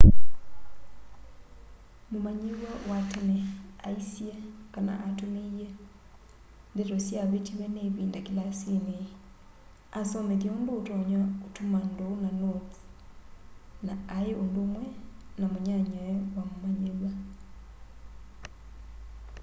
mumanyiw'a wa tene aisye kana atumiie ndeto syavitiwe ni ivinda kilasini asomethya undu utonya utuma nduu na notes na ai undumwe na munyanyae wa mumanyiw'a